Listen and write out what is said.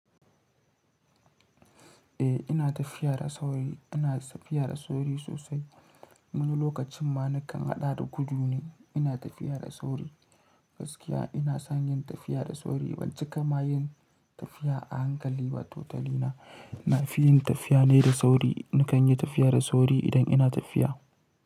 Eh, ina tafiya da sauri, ina tafiya da sauri sosai. Wani lokacin ma nakan haɗa da gudu ne ina tafiya da sauri. Gaskiya ina son yin tafiya da sauri. Ban cika ma yin tafiya a hankali ba. Totali na, na fi yin tafiya ne da sauri. Nakan yi tafiya da sauri idan ina tafiya.